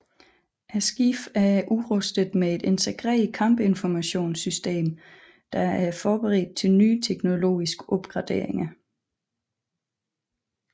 Skibene er udrustet med et integreret kampinformationssystem der er forberedt til nye teknologiske opgraderinger